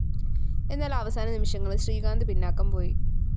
എന്നാല്‍ അവസാന നിമിഷങ്ങളില്‍ ശ്രീകാന്ത് പിന്നാക്കം പോയി